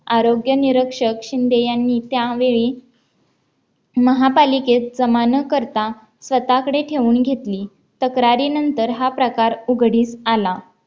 आरोग्य निरीक्षक शिंदे यांनी त्यावेळी महापालिकेत जमा न करता स्वतःकडे ठेवून घेतली तक्रारीनंतर हा प्रकार उघडीत आला